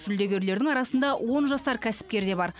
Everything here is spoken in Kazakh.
жүлдегерлердің арасында он жасар кәсіпкер де бар